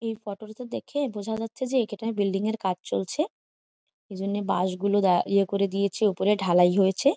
এই ফটো টাতে দেখে বোঝা যাচ্ছে যে এখেটায় বিল্ডিংএর কাজ চলছে এই জন্য বাঁশ গুলো দাঁ ইয়া করে দিয়েছে উপরে ঢালাই হয়েছে।